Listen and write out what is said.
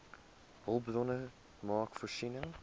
hulpbronne maak voorsiening